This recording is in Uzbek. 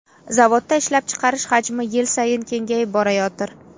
Zavodda ishlab chiqarish hajmi yil sayin kengayib borayotir.